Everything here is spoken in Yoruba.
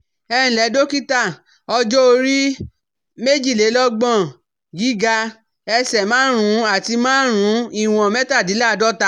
Ẹǹlẹ́ dọ́kítà, Ọjọ́ orí- méjìlélọ́gbọ̀n, gíga- ẹsẹ̀ márùn-ún àti márùn-ún, ìwọ̀n-mẹ́tàdínláàádọ́ta